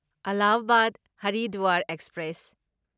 Allahabad Haridwar express